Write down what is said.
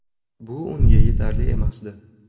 Bu unga yetarli emasdi.